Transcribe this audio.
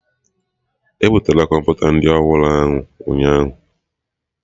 E butere Kọmputa ndị ọhụrụ ahụ ụnyaahụ